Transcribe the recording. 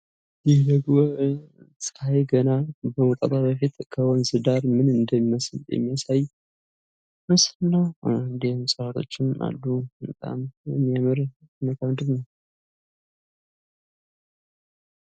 ደግሞ ገና ፀሐይ ከመውጣቷ በፊት ከወንዝ ዳር ምን እንደሚመስል የሚያሳይ ምስል ነው። እንዲሁም እፅዋታችን አሉ። በጣም የሚያምር